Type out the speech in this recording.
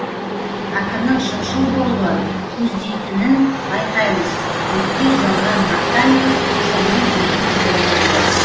ақынның шыншыл болуы көздейтінін байқаймыз өңкей жалған мақтамен шынның бетін бояйды